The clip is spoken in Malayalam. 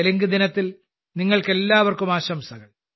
തെലുങ്ക്ദിനത്തിൽ നിങ്ങൾക്കെല്ലാവർക്കും ആശംസകൾ